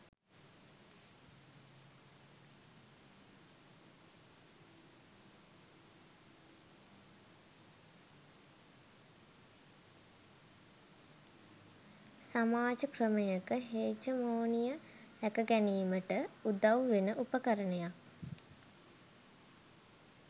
සමාජ ක්‍රමයක හෙජමොනිය රැකගැනීමට උදව් වෙන උපකරණයක්